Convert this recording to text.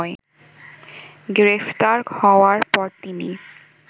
গ্রেফতার হওয়ার পর তিনি